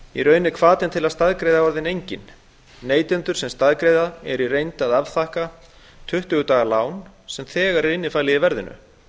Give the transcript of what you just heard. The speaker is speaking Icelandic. í raun er hvatinn til að staðgreiða enginn neytendur sem staðgreiða eru í reynd að afþakka tuttugu daga lán sem er þegar innifalið í verðinu